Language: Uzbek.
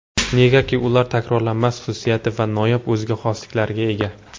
Negaki ular takrorlanmas xususiyat va noyob o‘ziga xosliklarga ega.